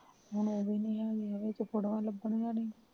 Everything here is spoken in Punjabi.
ਹੁਣ ਉਹ ਵੀ ਨਹੀਂ ਹੈਗੀ ਆ ਵਿੱਚ ਫੋਟੋਆਂ ਲਭਦੀਆਂ ਨਹੀ